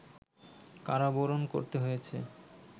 কারাবরণ করতে হয়েছে